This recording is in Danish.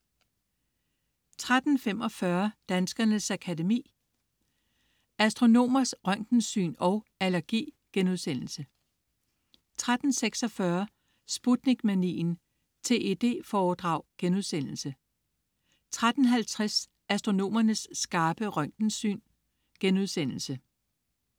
13.45 Danskernes Akademi: Astronomers røntgensyn & Allergi* 13.46 Sputnik-manien. TED-foredrag* 13.50 Astronomernes skarpe røntgensyn*